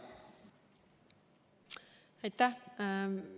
Aitäh!